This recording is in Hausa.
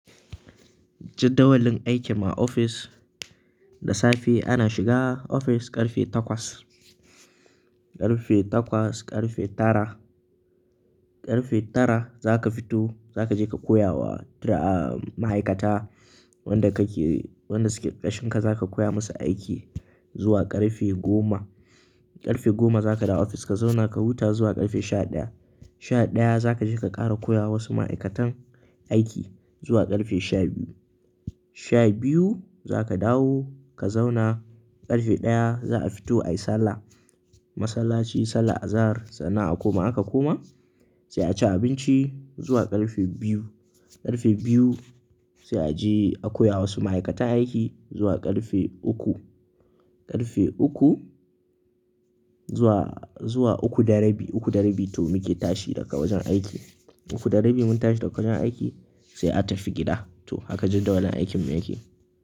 Jaddawalin aikin mu a ofis, da safe ana shiga ofis ƙarfe takwas. Ƙarfe takwas, ƙarfe tara. Ƙarfe tara zaka fito zaka je ka koya wa ma'aikata wanda kake-- wanda suke ƙarƙashin ka zaka koya musu aiki zuwa ƙarfe goma. Ƙarfe goma zaka dawo ofis ka zauna ka huta zuwa ƙarfe sha ɗaya. Sha ɗaya zaka je ka ƙara koya wa wasu ma'aikatan aiki zuwa ƙarfe sha biyu. Sha biyu zaka dawo ka zauna, ƙarfe ɗaya za'a fito ayi sallah. Masallaci, sallar azahar sannan a koma. In aka koma sai a ci abinci zuwa ƙarfe biyu. Ƙarfe biyu sai a je a koya wa wasu ma'aikata aiki zuwa ƙarfe uku. Ƙarfe uku zuwa, zuwa uku da rabi. Uku da rabi to muke tashi daga wajen aiki. Uku da rabi mun tashi daga wajen aiki sai a tafi gida. To haka jadawalin aikin mu yake.